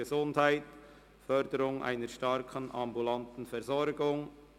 Gesundheit: Förderung einer starken ambulanten Versorgung».